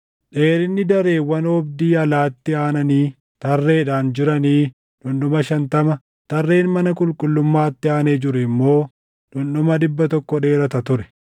Dheerinni dareewwan oobdii alaatti aananii tarreedhaan jiranii dhundhuma shantama, tarreen mana qulqullummaatti aanee jiru immoo dhundhuma dhibba tokko dheerata ture.